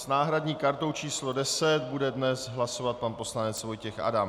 S náhradní kartou číslo 10 bude dnes hlasovat pan poslanec Vojtěch Adam.